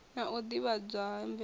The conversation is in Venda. na u ḓivhadzwa ha mvelelo